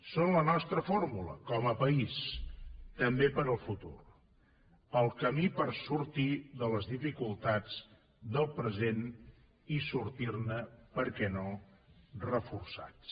són la nostra fórmula com a país també per al futur el camí per a sortir de les dificultats del present i sortir ne per què no reforçats